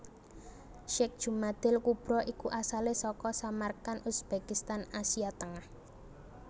Syekh Jumadil kubro iku asalé saka Samarkand Uzbekistan Asia Tengah